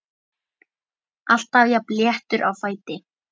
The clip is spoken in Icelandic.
Alltaf jafn léttur á fæti.